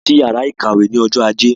A lọ sí ìyàrá-ìkàwé ní ọjọ́ ajé.